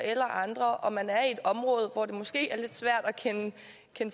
eller andre og man er i et område hvor det måske er lidt svært at kende